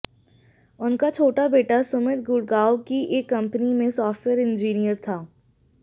उनका छोटा बेटा सुमित गुड़गांव की एक कंपनी में सॉफ्टवेयर इंजीनियर था